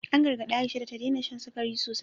An gargadi Aisha da ta daina shan sikari sosai.